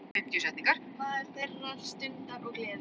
Maður þeirrar stundar og gleði.